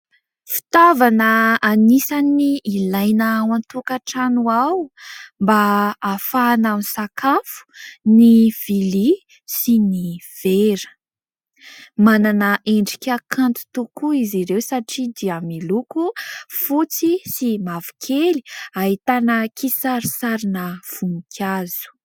Fitaovana anisan' ny ilaina ao an-tokatrano ao mba ahafahana misakafo ny vilia sy ny vera. Manana endrika kanto tokoa izy ireo satria dia miloko fotsy sy mavokely ahitana kisarisarina voninkazo.